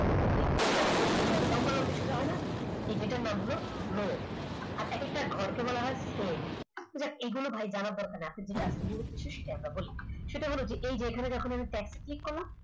এখন check করে দেখো এই যে দেখো লম্বালম্বি সোজা হয় না এটার নাম হলো row এক একটা ঘরকে বলা হয় এগুলো ভাই জানার দরকার নাই আজকে যেটা বলছি সেটা হচ্ছে বলি এই যে এখানে যখন আমি click করলাম